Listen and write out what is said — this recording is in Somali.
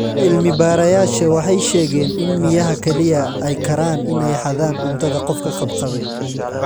Cilmi-baarayaasha waxay sheegeen in miyaha kaliya ay karaan in ay xadaan cuntada qofka qabqabay.